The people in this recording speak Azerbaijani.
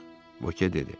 Voke dedi.